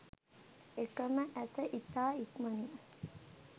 එක ම ඇස ඉතා ඉක්මනින්